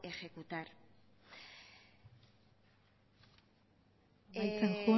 ejecutar amaitzen